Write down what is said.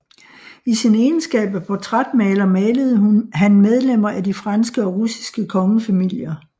I sin egenskab af portrætmaler malede han medlemmer af de franske og russiske kongefamilier